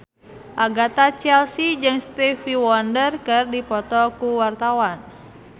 Agatha Chelsea jeung Stevie Wonder keur dipoto ku wartawan